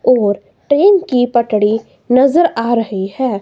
और ट्रेन की पटरी नजर आ रही है।